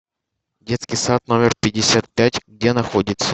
детский сад номер пятьдесят пять где находится